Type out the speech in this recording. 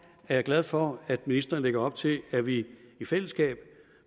jeg glad for at ministeren lægger op til at vi i fællesskab